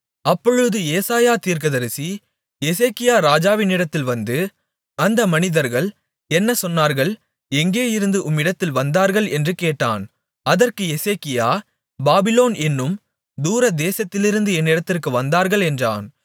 அப்பொழுது ஏசாயா தீர்க்கதரிசி எசேக்கியா ராஜாவினிடத்தில் வந்து அந்த மனிதர்கள் என்ன சொன்னார்கள் எங்கேயிருந்து உம்மிடத்தில் வந்தார்கள் என்று கேட்டான் அதற்கு எசேக்கியா பாபிலோன் என்னும் தூரதேசத்திலிருந்து என்னிடத்திற்கு வந்தார்கள் என்றான்